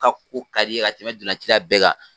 n Ka kupu tali ka tɛmɛ donlan cila bɛɛ kan